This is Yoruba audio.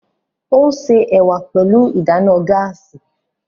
O n se ẹwà pẹlu ìdáná gaasi